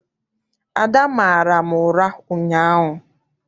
Ada mara m ụra ụnyaahụ.